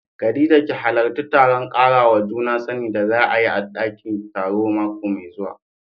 Khadija ki hallarci taron karawa juna sani da za a yi a dakin taro mako mai zuwa.